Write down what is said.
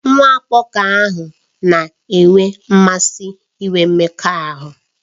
Nwa agbọghọ ahụ na-enwe mmasị inwe mmekọahụ